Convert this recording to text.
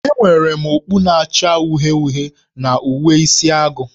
Enwere m okpu na-acha uhie uhie na uwe Isi agụ